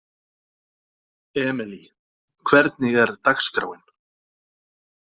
Emely, hvernig er dagskráin?